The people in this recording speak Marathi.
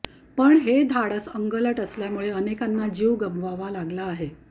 पण हे धाडस अंगलट आल्यामुळे अनेकांना जीव गमवावा लागला आहे